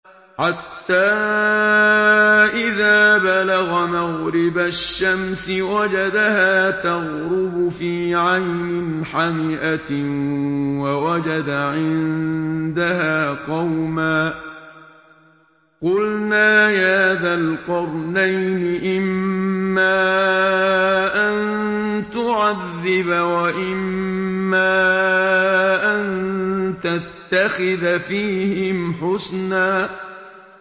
حَتَّىٰ إِذَا بَلَغَ مَغْرِبَ الشَّمْسِ وَجَدَهَا تَغْرُبُ فِي عَيْنٍ حَمِئَةٍ وَوَجَدَ عِندَهَا قَوْمًا ۗ قُلْنَا يَا ذَا الْقَرْنَيْنِ إِمَّا أَن تُعَذِّبَ وَإِمَّا أَن تَتَّخِذَ فِيهِمْ حُسْنًا